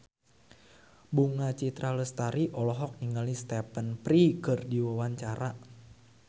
Bunga Citra Lestari olohok ningali Stephen Fry keur diwawancara